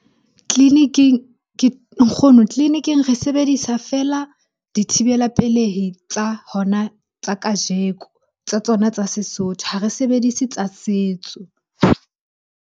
Tleliniking . Nkgono, tleliniking re sebedisa feela dithibela pelehi tsa hona tsa kajeko. Tsa tsona tsa Sesotho, ha re sebedise tsa setso.